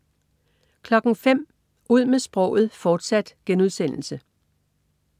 05.00 Ud med sproget, fortsat*